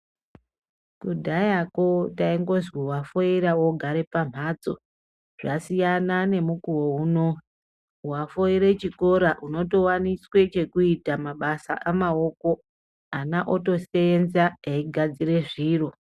Kudhayako taingozwi wafoira ogare pamhatso zvasiyana nemukuwo unowu wafoire chikora unotowaniswe chekuita mabasa amaoko ana otoseenza eigadzire zviro.